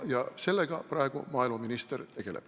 Ja sellega praegu maaeluminister tegeleb.